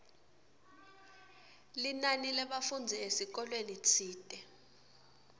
linani lebafundzi esikolweni tsite